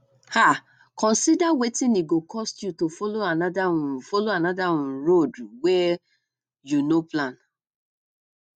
um consider wetin e go cost you to follow another um follow another um road wey um you no plan